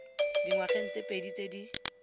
dingwageng tse pedi tse di